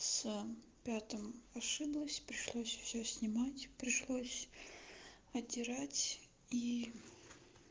с пятым ошиблась пришлось всё снимать пришлось отдирать и